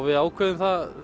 við ákveðum það